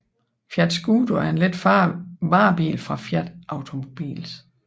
Fiat Scudo er en let varebil fra Fiat Automobiles